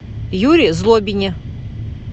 юре злобине